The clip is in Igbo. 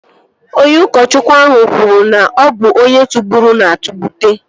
Onye ụkọchukwu ahụ kwuru na, ọ bụ onye tụgburu na-atụgbute